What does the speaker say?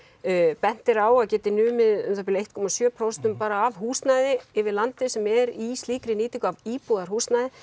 bent er á að geti numið um eitt komma sjö prósent af húsnæði yfir landið sem er í slíkri nýtingu af íbúðarhúsnæði